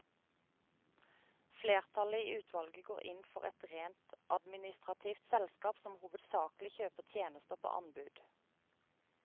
Flertallet i utvalget går inn for et rent administrativt selskap som hovedsakelig kjøper tjenester på anbud.